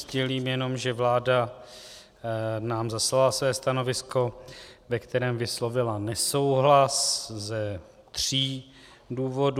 Sdělím jenom, že vláda nám zaslala své stanovisko, ve kterém vyslovila nesouhlas ze tří důvodů.